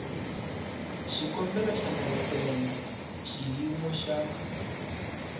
xikombelo xa layisense xiyimo xa